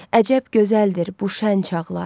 Əcəb gözəldir bu şən çağlar.